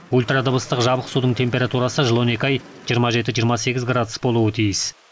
ультрадыбыстық жабық судың температурасы жыл он екі ай жиырма жеті жиырма сегіз градус болуы тиіс